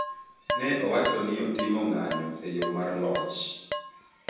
Ne owacho ni ne otimo ng’anyo e yo mar loch